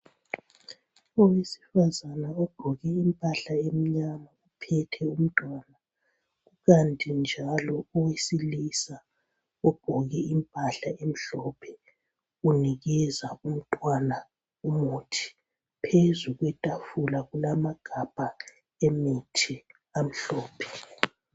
Owesifazana ogqoke impahle emnyama uphethe umntwana kukanti njalo owesilisa ogqoke imphahla emhlophe unikeza umntwana umuthi ,phezu kwetafula kulamagabha emithi amhlophe.